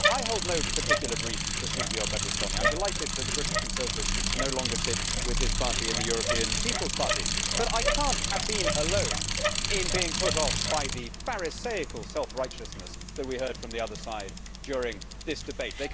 I hold no particular brief for Silvio Berlusconi. I am delighted that the British Conservatives no longer sit with his party in the European People's Party, but I cannot have been alone in being put off by the Pharisaical self righteousness that we have heard from the other side during this debate.